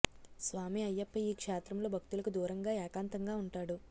స్వామి అయ్యప్ప ఈ క్షేత్రంలో భక్తులకు దూరంగా ఏకాంతంగా ఉంటాడు